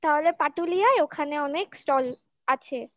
তাহলে পাটুলি আয় ওখানে অনেক stall আছে